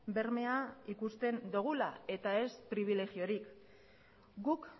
bermea ikusten dogula eta ez pribilegiorik guk